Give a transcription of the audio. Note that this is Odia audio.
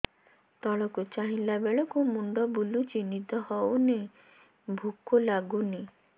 ତଳକୁ ଚାହିଁଲା ବେଳକୁ ମୁଣ୍ଡ ବୁଲୁଚି ନିଦ ହଉନି ଭୁକ ଲାଗୁନି